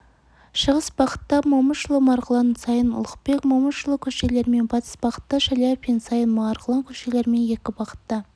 шығыс бағатта момышұлы марғұлан саин ұлықбек момышұлы көшелерімен батыс бағытта шаляпин саин марғұлан көшелерімен екі бағытта